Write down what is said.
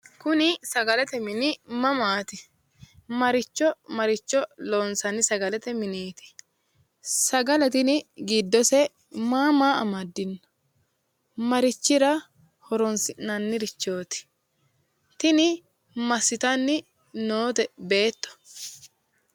Kuni sagalete mini mamaati? Maricho maricho loonsanni sagaleeti mineti? Sagale tini giddose ma maa amaddino? marichira horonsi'nannirichooti? tini massitanni noote beetto?